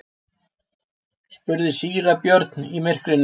spurði síra Björn í myrkrinu.